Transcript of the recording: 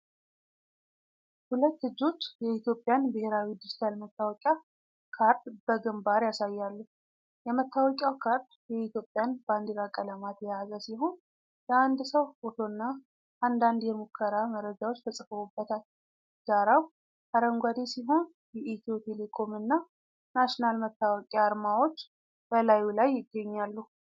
ሁለት እጆች የኢትዮጵያን ብሔራዊ ዲጂታል መታወቂያ ካርድ በግንባር ያሳያሉ። የመታወቂያው ካርድ የኢትዮጵያን ባንዲራ ቀለማት የያዘ ሲሆን፣ የአንድ ሰው ፎቶና አንዳንድ የሙከራ መረጃዎች ተጽፈውበታል። ዳራው አረንጓዴ ሲሆን የኢትዮ ቴሌኮም እና ናሽናል መታወቂያ አርማዎች በላዩ ላይ ይገኛሉ።